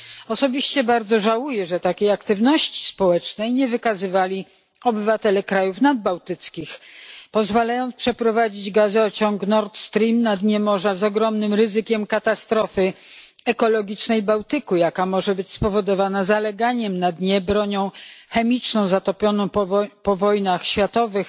Osobiście bardzo żałuję, że takiej aktywności społecznej nie wykazywali obywatele krajów nadbałtyckich, pozwalając przeprowadzić gazociąg Nord Stream na dnie morza z ogromnym ryzykiem katastrofy ekologicznej Bałtyku, jaka może być spowodowana zaleganiem na dnie broni chemicznej, zatopionej po wojnach światowych